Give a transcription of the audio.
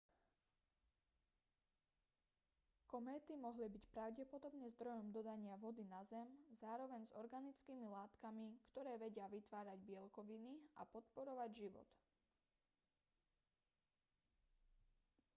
kométy mohli byť pravdepodobne zdrojom dodania vody na zem zároveň s organickými látkami ktoré vedia vytvárať bielkoviny a podporovať život